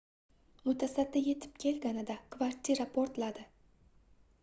mutasaddi yetib kelganida kvartira portladi